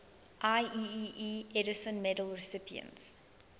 ieee edison medal recipients